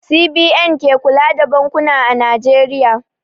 CBN ke kula da bankuna a Najeriya.